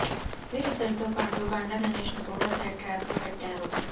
వీరిద్దరితో పాటు బండ్ల గణేష్ ను కూడా సైడ్ ట్రాక్ లో పెట్టారు